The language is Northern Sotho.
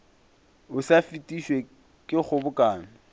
o sa fetišwe ke kgobokano